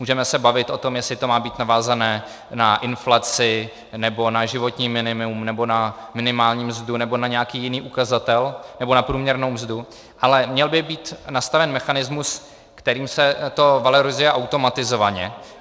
Můžeme se bavit o tom, jestli to má být navázané na inflaci, nebo na životní minimum, nebo na minimální mzdu, nebo na nějaký jiný ukazatel, nebo na průměrnou mzdu, ale měl by být nastaven mechanismus, kterým se to valorizuje automatizovaně.